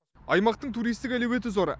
аймақтың туристік әлеуеті зор